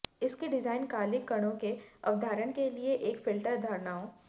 इसकी डिजाइन कालिख कणों की अवधारण के लिए एक फिल्टर धारणाओं